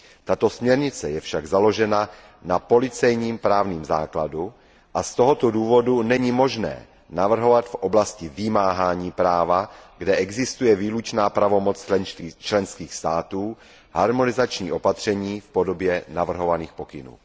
Tato směrnice je však založena na policejním právním základu, a z tohoto důvodu není možné navrhovat v oblasti vymáhání práva, kde existuje výlučná pravomoc členských států, harmonizační opatření v podobě navrhovaných pokynů.